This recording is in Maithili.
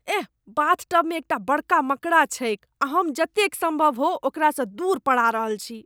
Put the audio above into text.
एह, बाथटबमे एकटा बड़का मकड़ा छैक आ हम जतेक सम्भव हो ओकरासँ दूर पड़ा रहल छी।